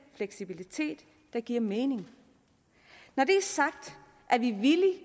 fleksibilitet der giver mening når det er sagt er vi villige